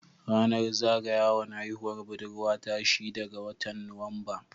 Ranar zaga yawan haihuwar budurwa ta shida ga watan Nuwamba.